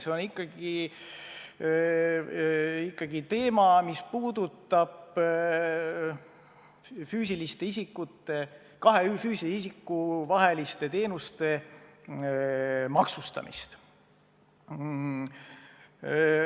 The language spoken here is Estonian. See on ikkagi kahe füüsilise isiku vaheliste teenuste maksustamine.